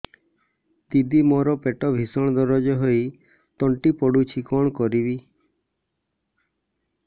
ଦିଦି ମୋର ପେଟ ଭୀଷଣ ଦରଜ ହୋଇ ତଣ୍ଟି ପୋଡୁଛି କଣ କରିବି